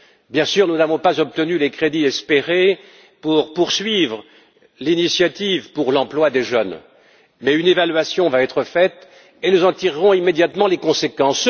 Bien sûr, nous n'avons pas obtenu les crédits espérés pour poursuivre l'initiative pour l'emploi des jeunes, mais une évaluation va être faite et nous en tirerons immédiatement les conséquences.